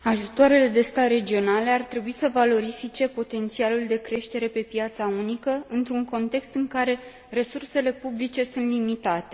Ajutoarele de stat regionale ar trebui să valorifice potențialul de creștere pe piața unică, într un context în care resursele publice sunt limitate.